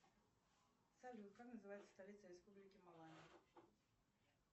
салют как называется столица республики